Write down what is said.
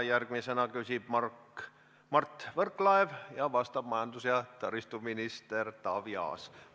Järgmisena küsib Mart Võrklaev ja vastab majandus- ja taristuminister Taavi Aas.